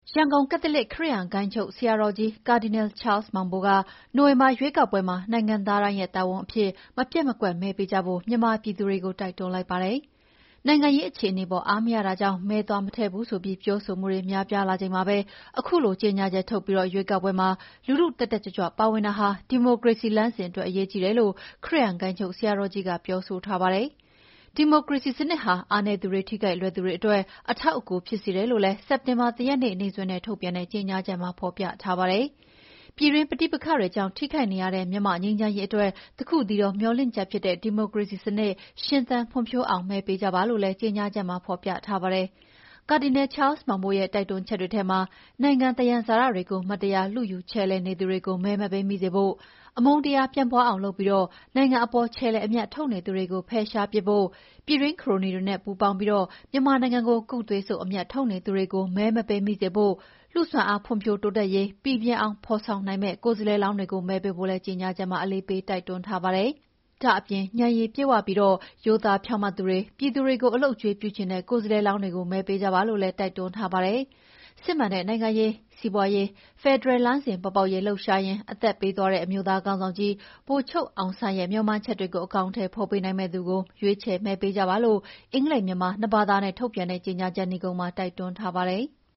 ရန်ကုန် ကက်သလစ် ခရစ်ယာန်ဂိုဏ်းချုပ်ဆရာတော်ကြီး ကာဒီနယ်ချားလ်မောင်ဘိုက နိုဝင်ဘာရွေးကောက်ပွဲမှာ နိုင်ငံသားတိုင်းရဲ့တာဝန်အဖြစ် မပျက်မကွက်မဲပေးကြဖို့ မြန်မာပြည်သူတွေကို တိုက်တွန်းလိုက်ပါတယ်။ နိုင်ငံရေးအခြေအနေအပေါ် အားမရတာကြောင့် မဲသွားမထည့်ဘူးဆိုပြီး ပြောဆိုမှုတွေ များပြားလာချိန်မှာပဲ၊ အခုလို ကြေညာချက်ထုတ်ပြီး ရွေးကောက်ပွဲမှာ လူထု တတ်တတ်ကြွကြွပါဝင်တာဟာ ဒီမိုကရေစီ လမ်းစဉ်အတွက်အရေးကြီးတယ်လို့ ခရစ်ယာန်ဂိုဏ်းချုပ်ဆရာတော်ကြီးက ပြောဆိုထားတာပါ။ ဒီမိုကရေစီစနစ်ဟာ အားနည်းသူတွေ ထိခိုက်လွယ်သူတွေအတွက် အထောက်အကူပြုစေတယ်လို့လည်း စက်တင်ဘာ ၁ ရက်နေ့စွဲနဲ့ ထုတ်ပြန်တဲ့ကြေငြာချက်မှာ ဖော်ပြထားပါတယ်။ ပြည်တွင်းပဋိပက္ခတွေကြောင့် ထိခိုက်နေရတဲ့ မြန်မာ့ ငြိမ်းချမ်းရေးအတွက်တခုတည်းသောမေ ျှာ်လင့်ချက်ဖြစ်တဲ့ ဒီမိုကရေစီစနစ် ရှင်သန်ဖွံ့ဖြိုးနိုင်အောင် မဲပေးကြပါလို့လည်း ကြေငြာချက်မှာ ဖော်ပြထားပါတယ်။ ကာဒီနယ်ချားလ်မောင်ဘိုရဲ့တိုက်တွန်းချက်တွေထဲမှာ နိုင်ငံသယံဇာတတွေကို မတရား လုယူခြယ်လှယ်နေသူတွေကို မဲမပေးမိစေဖို့၊ အမုန်းတရား ပြန့်ပွါးအောင်လုပ်ပြီး နိုင်ငံအပေါ်ခြယ်လှယ်အမြတ်ထုတ်နေသူတွေကို ဖယ်ရှားပစ်ဖို့၊ ပြည်တွင်းခရိုနီတွေနဲ့ပူးပေါင်းပြီး မြန်မာနိုင်ငံကို ကုတ်သွေးစုပ်အမြတ်ထုတ်နေသူတွေကို မဲမပေးမိစေဖို့၊ လူ့စွမ်းအားဖွံ့ဖြိုးတိုးတက်ရေ ပီပြင်ဖော်ဆောင်နိုင်မယ့် ကိုယ်စားလှယ်လောင်းတွေကို မဲပေးဖို့လည်း ကြေငြာချက်မှာ အလေးပေးတိုက်တွန်းထားပါတယ်။ ဒါ့အပြင် ဉာဏ်ရည်ပြည့်ဝပြီး ရိုးသားဖြောင့်မတ်သူတွေ၊ ပြည်သူတွေကို အလုပ်အကြွေးပြုချင်တဲ့ ကိုယ်စားလှယ်လောင်းတွေကို မဲပေးကြပါလို့လည်း တိုက်တွန်းထားပါတယ်။ စစ်မှန်တဲ့ နိုင်ငံရေး၊ စီးပါွးရေး၊ ဖယ်ဒရယ်လမ်းစဉ်ပေါ်ပေါက်ရေး လှုပ်ရှားရင်း အသက်ပေးသွားတဲ့ အမျိုးသားခေါင်းဆောင်ကြီး ဗိုလ်ချုပ်အောင်ဆန်းရဲ့ မေ ျှာ်မှန်းချက်တွေကို အကောင်အထည်ဖော်ပေးနိုင်မယ့်သူကို ရွေးချယ်မဲပေးကြပါလို့ အင်္ဂလိပ်၊ မြန်မာ နှစ်ဘာသာနဲ့ နိဂုံးမှာ တိုက်တွန်းထားပါတယ်။